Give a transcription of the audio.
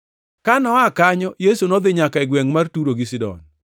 Ka noa kanyo, Yesu nodhi nyaka e gwengʼ mar Turo gi Sidon.